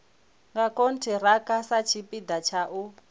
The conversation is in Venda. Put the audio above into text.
nga khonthiraka satshipida tsha u